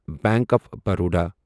bank of Baroda